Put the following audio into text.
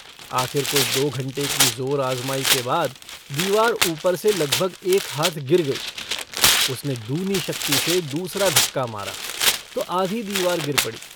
आखिर कोई दो घंटे की ज़ोर आज़माई के बाद दीवार ऊपर से लगभग एक हाथ गिर गई। उसने दूनी शक्ति से दूसरा धक्का मारा तो आधी दीवार गिर पड़ी।